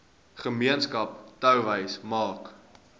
gemeenskap touwys maak